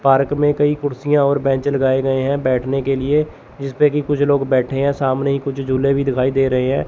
Park में कई कुर्सियां और बेंच लगाए गए हैं बैठने के लिए जिसपे की कुछ लोग बैठे हैं सामने कुछ झूले भी दिखाई दे रहे हैं।